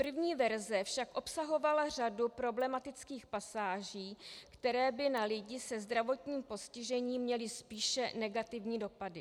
První verze však obsahovala řadu problematických pasáží, které by na lidi se zdravotním postižením měly spíše negativní dopady.